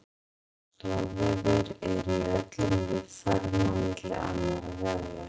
Stoðvefir eru í öllum líffærum á milli annarra vefja.